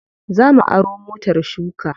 Za mu aro motar shuka.